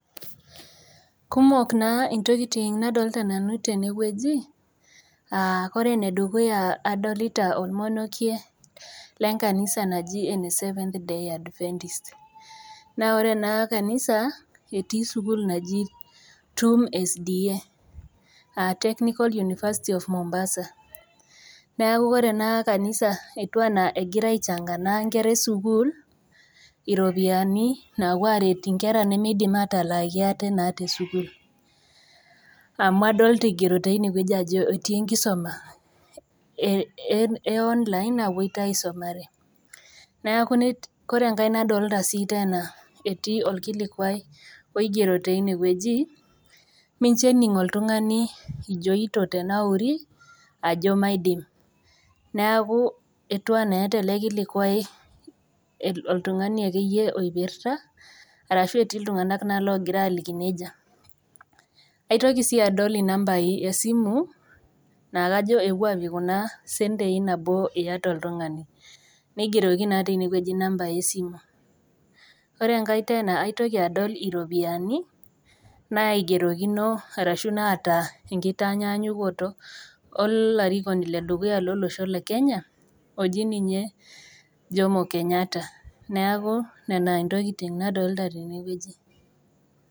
Kumok naa intokiting nadolta nanu tenewueji uh kore enedukuya adolita olmonokie lenkanisa naji ene seventh day advenntist naa ore ena kanisa etii sukuul naji TUM SDA uh technical university of mombasa neaku ore ena anisa etiu anaa egira aichanga naa inkera esukuul iropiani naapuo aret inkera nemidim atalaaki ate naa tesukuul amu adolta eigero tinewueji ajo etii enkisoma e online napuoito aisumare ore enkae nadolta sii tena etii olkilikuai oigero teinewueji mincho ening oltung'ani ijoito tenauri ajo maidim neaku etiu enaa eeta ele kilikuai el oltung'ani akeyie oipirta arashu etii iltung'nak naa logira aliki nejia aitoki sii adol inambai esimu naa kajo epuo apik kuna sentei nabo iyata oltung'ani neigeroki naa tinewueji inambai esimu ore enkae tena aitoki adol iropiyiani naigerokino arshu naata enkitanyanyokoto olarikoni ledukuya lolosho le kenya oji ninye Jomo kenyatta neaku nena intokiting nadolita tenewueji.